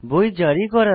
বই জারি করা